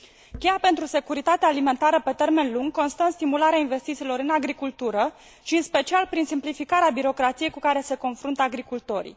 Cheia pentru securitatea alimentară pe termen lung constă în stimularea investițiilor în agricultură, în special prin simplificarea birocrației cu care se confruntă agricultorii.